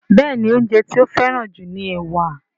Béèni oúnjẹ ti o feran ju ní ẹwà.